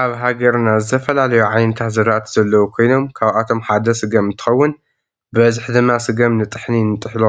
አብ ሃገርና ዝተፈላለዩ ዓይነታት ዝራእቲ ዘለዉ ኮይኖም ካብአቶም ሓደ ስገም እንተከውን ብበዚሒ ድማ ስገም ንጥሕኒ ንጥሕሎ